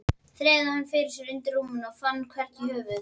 Þreifaði hann fyrir sér undir rúminu, en fann hvergi höfuðið.